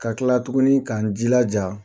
Ka kla tuguni k'an jilaja